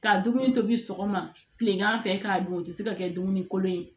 Ka dumuni tobi sɔgɔma kilegan fɛ k'a dun o tɛ se ka kɛ dumuni kolon ye